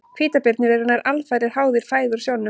Hvítabirnir eru nær alfarið háðir fæðu úr sjónum.